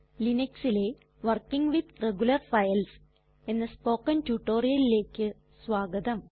Linuxലെ working with regular files എന്ന spoken റ്റുറ്റൊരിയലിലേക്ക് സ്വാഗതം